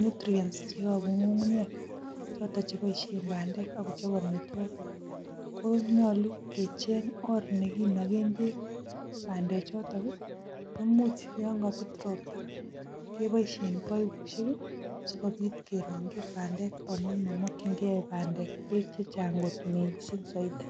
nutrients cheyobu ngungunyek choton cheboishen bandek akochob amitwokik ko nyolu kecheng orr neginogen bek bandek choton imuch yon kobet ropta keiboishen baibushek asigobit kerongi bandek amun momokin key bandek bek chechang got mising soiti.